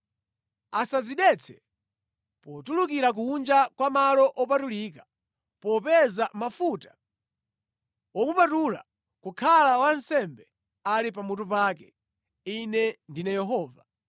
Asadzidetse potulukira kunja kwa malo opatulika popeza mafuta womupatula kukhala wansembe ali pamutu pake. Ine ndine Yehova.